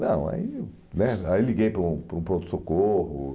Não, aí né aí liguei para um para um pronto-socorro.